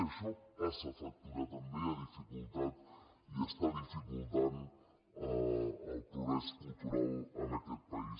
i això passa factura també ha dificultat i està dificultant el progrés cultural en aquest país